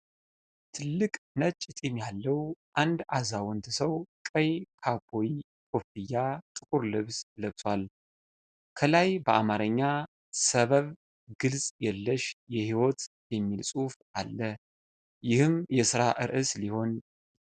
ትልቅ ነጭ ጢም ያለው አንድ አዛውንት ሰው ቀይ ካውቦይ ኮፍያና ጥቁር ልብስ ለብሷል። ከላይ በአማርኛ "ሰበብ ግልጽ የለሽ የሕይወት" የሚል ጽሑፍ አለ፣ ይህም የሥራ ርዕስ ሊሆን ይችላል።